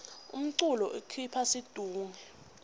umculo ukhipha situnge